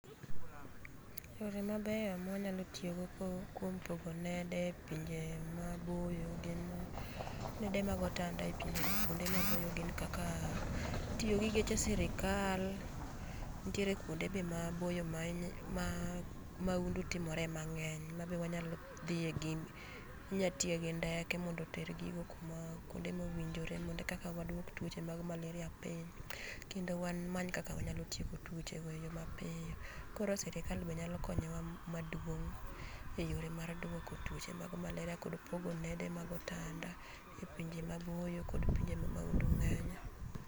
Yore mabeyo ma wanyalo tiyo go kuom pogo nede e pinje maboyo gin, nede mag otanda e kuonde maboyo gin kaka tiyo gi geche sirikal, nitiere kuonde be maboyo ma, ma maundu timore mangeny mabe wanyalo dhiye gi ,inya tiye gi ndeke mondo oter gigo kuma, kuonde ma owinjore mondo koka waduok tuoche mag malaria piny kendo wamany kaka wanyalo tieko tuoche go e yoo mapiyo. Koro sirkal nyalo konyowa maduong' eyore mag duoko tuoche mag malaria kod pogo nede mag otanda e pinje maboyo kod pinje ma tuo malaria ng'enye